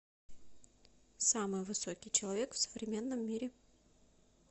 самый высокий человек в современном мире